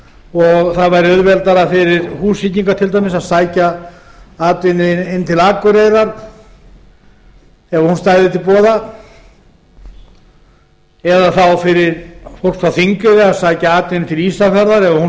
og það væri auðveldara fyrir húsvíkinga til dæmis að sækja atvinnu inn til akureyrar ef hún stæði til boða þá fyrir fólk á þingeyri að sækja atvinnu til ísafjarðar ef